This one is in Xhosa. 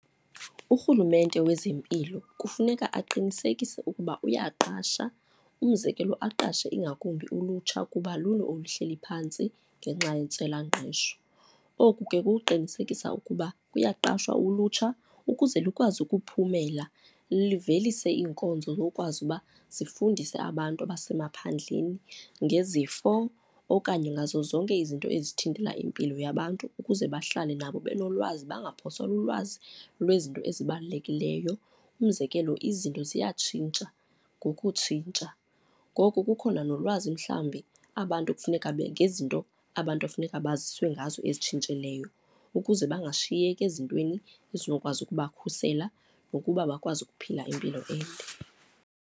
Urhulumente wezempilo kufuneka aqinisekise ukuba uyaqasha, umzekelo aqashe ingakumbi ulutsha kuba lulo olu hleli phantsi ngenxa yentswelangqesho. Oku ke kuqinisekisa ukuba kuyaqashwa ulutsha ukuze lukwazi ukuphumela livelise iinkonzo zokwazi ukuba zifundise abantu abasemaphandleni ngezifo okanye ngazo zonke izinto ezithintela impilo yabantu ukuze bahlale nabo benolwazi bangaphosakali ulwazi lwezinto ezibalulekileyo. Umzekelo izinto ziyatshintsha ngokutshintsha, ngoko kukhona nolwazi mhlawumbi abantu kufuneka ngezinto abantu ekufuneka baziswe ngazo ezitshintshileyo ukuze bangashiyeki ezintweni ezinokwazi ukubakhusela nokuba bakwazi ukuphila impilo ende.